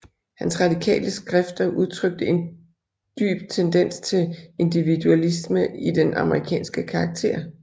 Hans radikale skrifter udtrykte en dyp tendens til individualisme i den amerikanske karakter